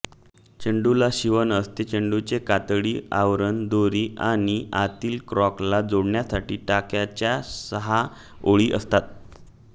चेंडूला शिवण असते चेंडूचे कातडी आवरण दोरी आणि आतील कॉर्कला जोडण्यासाठी टाक्यांच्या सहा ओळी असतात